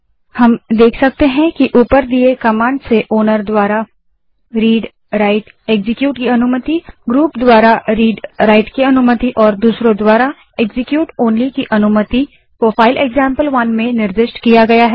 हम देख सकते हैं कि ऊपर दिए कमांड से ओनर द्वारा readwriteएक्जीक्यूट की अनुमति ग्रुप द्वारा readराइट की अनुमति और दूसरों द्वारा execute ओनली की अनुमति को फाइल एक्जाम्पल1 में निर्दिष्ट किया गया है